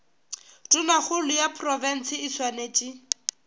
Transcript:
tonakgolo ya profense e swanetše